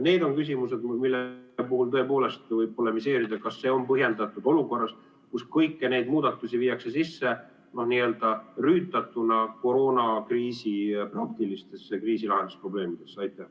Need on küsimused, mille puhul tõepoolest võib polemiseerida, kas see on põhjendatud olukorras, kus kõiki neid muudatusi viiakse sisse rüütatuna koroonakriisi praktilistesse kriisilahendusprobleemidesse.